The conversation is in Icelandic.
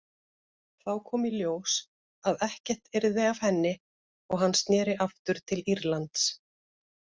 Þá kom í ljós að ekkert yrði af henni og hann sneri aftur til Írlands.